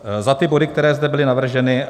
Za ty body, které zde byly navrženy.